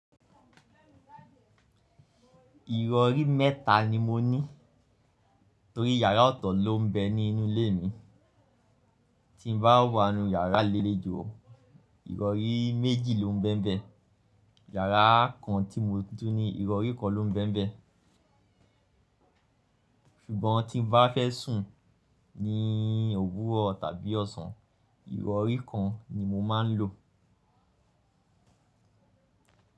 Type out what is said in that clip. Ìrọ̀rí mẹ́ta ni mo ní torí yàrá ọ̀tọ̀ ló ń bẹ ní inú ilé mi. Tí n bá wá nu yàrá lelejò, ìrọ̀rí méjì ló ń bẹmbẹ. Yàrá kan tí mo tún ní ìrọ̀rí kan ló ń bẹmbẹ. Ṣùgbọ́n tí n bá fẹ́ sùn ní òwúrọ̀ tàbí ọ̀sán, ìrọ̀rí kan ni mo máa ń lò.